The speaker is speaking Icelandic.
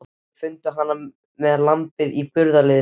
Þeir fundu hana með lambið í burðarliðnum.